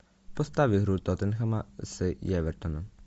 поставь игру тоттенхэма с эвертоном